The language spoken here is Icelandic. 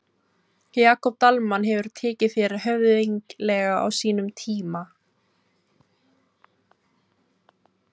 Jakob Dalmann hefur tekið þér höfðinglega á sínum tíma?